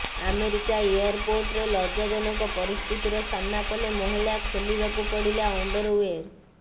America ଏୟାରପୋର୍ଟରେ ଲଜ୍ଜାଜନକ ପରିସ୍ଥିତିର ସାମ୍ନା କଲେ ମହିଳା ଖୋଲିବାକୁ ପଡ଼ିଲା ଅଣ୍ଡରୱେର୍